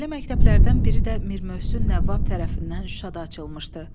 Belə məktəblərdən biri də Mir Möhsün Nəvvab tərəfindən Şuşada açılmışdı.